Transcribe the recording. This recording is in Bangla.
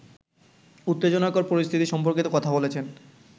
উত্তেজনাকর পরিস্থিতি সম্পর্কে কথা বলেছেন